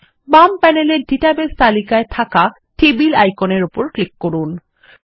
বাম প্যানেলের ডাটাবেস তালিকায় থাক়া টেবলস আইকনের উপর ক্লিক করুন